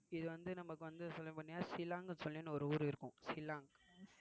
இது வந்து நமக்கு வந்து சொல்லபோனின்னா சிலாங்னு சொல்லி ஒரு ஊர் இருக்கும் சிலாங்